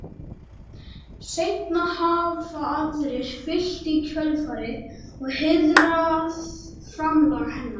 seinna hafa aðrir fylgt í kjölfarið og heiðrað framlag hennar